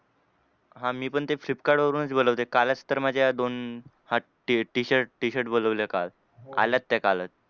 हां मी पण ते फ्लिपकार्टवरूनच बोलवते. कालच तर माझ्या दोन हा हे Tshirt Tshirt बोलवले काल. आल्यात त्या कालच.